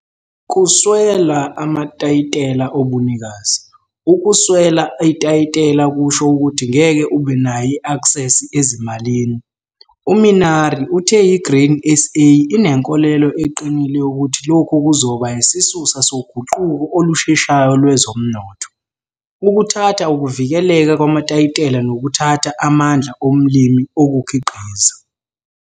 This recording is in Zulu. Kuswela amatayitela obunikazi - ukweswela itayitela kusho ukuthi ngeke ube nayo i-aksesi ezimalini. U-Minnaar uthe i-Grain SA inenkolelo eqinile yokuthi lokhu kuzoba yisisusa soguquko olusheshayo lwezomnotho. 'Ukuthatha ukuvikeleka kwamatayitela nokuthatha amandla omlimi okukhiqiza.'